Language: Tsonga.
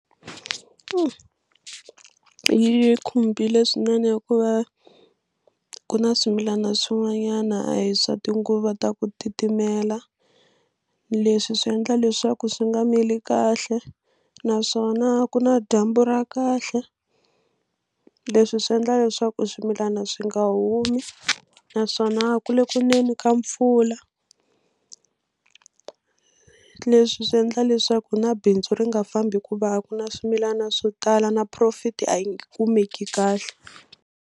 Yi khumbile swinene hikuva ku na swimilana swin'wanyana a hi swa tinguva ta ku titimela leswi swi endla leswaku swi nga mili kahle naswona a ku na dyambu ra kahle leswi swi endla leswaku swimilana swi nga humi naswona a ku le ku neni ka mpfula leswi swi endla leswaku na bindzu ri nga fambi hikuva a ku na swimilana swo tala na profit a yi nge kumeki kahle.